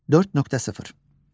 4.0.